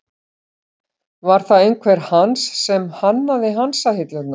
Var það einhver Hans sem hannaði hansahillurnar?